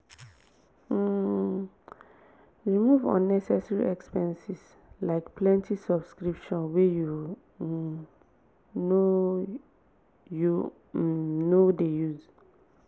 um remove unnecessary expenses like plenty subscriptions wey you um no you um no dey use.